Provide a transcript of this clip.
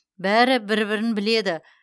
бәрі бір бірін біледі